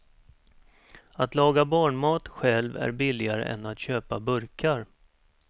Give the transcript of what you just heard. Att laga barnmat själv är billigare än att köpa burkar.